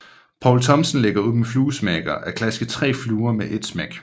Poul Thomsen lægger ud med fluesmækker at klaske 3 fluer med et smæk